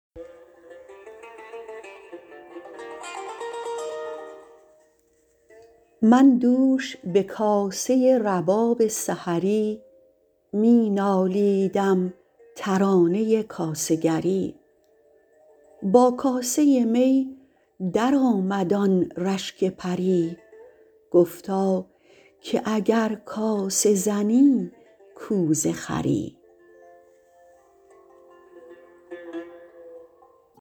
من دوش به کاسه رباب سحری می نالیدم ترانه کاسه گری با کاسه می درآمد آن رشک پری گفتا که اگر کاسه زنی کوزه خری